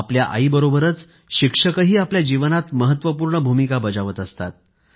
आपल्या आईबरोबरच शिक्षकही आपल्या जीवनात महत्वपूर्ण भूमिका बजावत असतात